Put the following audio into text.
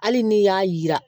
Hali n'i y'a yira